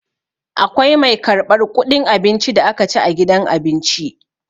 Akwai mai karɓar ƙuɗin abincin da aka ci a gidan abinci.